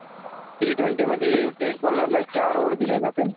T twenty मधी एक बोलरला चार ओवर दिल्या जाते